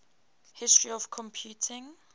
history of computing